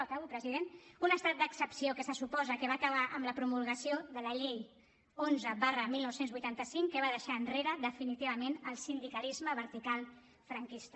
acabo president un estat d’excepció que se suposa que va acabar amb la promulgació de la llei onze dinou vuitanta cinc que va deixar enrere definitivament el sindicalisme vertical franquista